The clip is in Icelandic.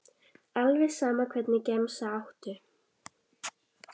alveg sama Hvernig gemsa áttu?